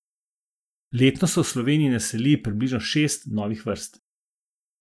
Letno se v Sloveniji naseli približno šest novih vrst.